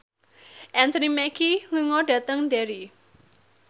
Anthony Mackie lunga dhateng Derry